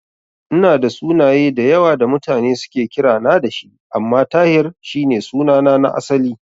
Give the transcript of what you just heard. Ina da sunaye da yawa da mutane suke kirana da shi, amma Tahir shi ne sunana na asali.